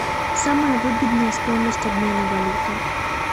самая выгодная стоимость обмена валюты